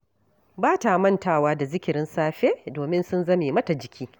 Ba ta mantawa da zikirin safe, domin sun zame mata jiki